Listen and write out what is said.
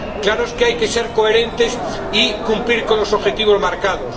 Claro que hay que ser coherentes y cumplir con los objetivos marcados.